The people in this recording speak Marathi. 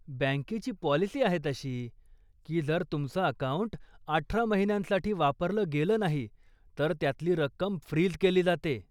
बँकेची पॉलिसी आहे तशी, की जर तुमचं अकाऊंट अठरा महिन्यांसाठी वापरलं गेलं नाही, तर त्यातली रक्कम फ्रीज केली जाते.